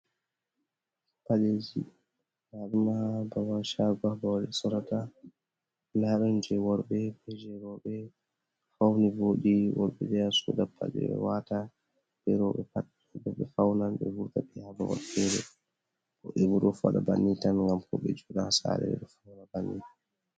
Paɗeeji, nda ɗum haa babal shaago haa babal ɓe sorata. Nda ɗon je worɓe be jei rowɓe. Fauni vooɗi worɓe ɗo yaha soda paɗe waata, be rowɓe pat, to ɓe faunan ɓe vurta, ɓe yaha babal fere. Woɓɓe bo ɗo faɗa banni tan ngam ko ɓe jooɗa ha saare ɓe fauna banni.